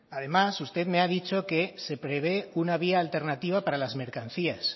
además usted me ha dicho que se prevé una vía alternativa para las mercancías